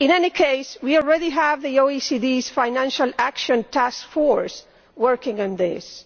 In any case we already have the OECD's Financial Action Task Force working on this.